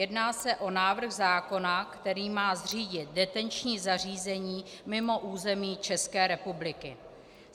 Jedná se o návrh zákona, který má zřídit detenční zařízení mimo území České republiky.